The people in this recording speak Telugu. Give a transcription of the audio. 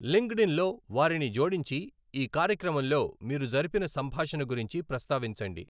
లింక్డ్ఇన్ లో వారిని జోడించి ఈ కార్యక్రమంలో మీరు జరిపిన సంభాషణ గురించి ప్రస్తావించండి.